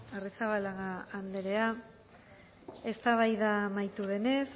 arrizabalaga andrea eztabaida amaitu denez